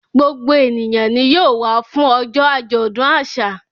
Gbogbo ènìyàn ni yóò wá fún ọjọ́ àjọ̀dún àṣà.